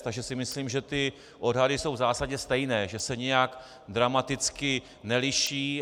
Takže si myslím, že ty odhady jsou v zásadě stejné, že se nijak dramaticky neliší.